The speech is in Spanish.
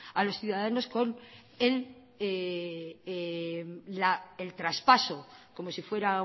a los ciudadanos con el traspaso como si fuera